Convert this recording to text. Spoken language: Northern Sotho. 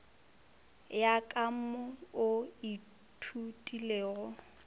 ya ka mo o ithutilego